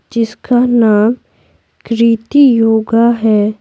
जिसका नाम कृति योगा है।